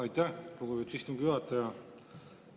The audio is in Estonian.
Aitäh, lugupeetud istungi juhataja!